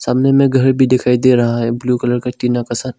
सामने में घर भी दिखाई दे रहा है ब्लू कलर में टीना के साथ।